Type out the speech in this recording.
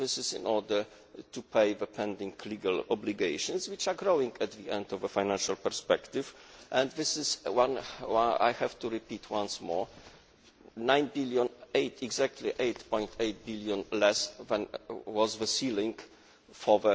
this is in order to pay the pending legal obligations, which are growing at the end of the financial perspective. This is, I have to repeat once more, exactly EUR 8.8 billion less than was the ceiling